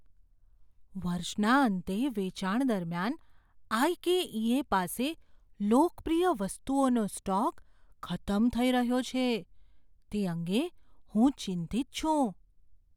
વર્ષના અંતે વેચાણ દરમિયાન આઈ.કે.ઈ.એ. પાસે લોકપ્રિય વસ્તુઓનો સ્ટોક ખતમ થઈ રહ્યો છે તે અંગે હું ચિંતિત છું.